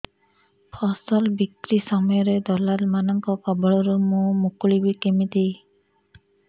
ଫସଲ ବିକ୍ରୀ ସମୟରେ ଦଲାଲ୍ ମାନଙ୍କ କବଳରୁ ମୁଁ ମୁକୁଳିଵି କେମିତି